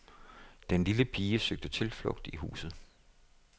Den lille pige søgte tilflugt i huset.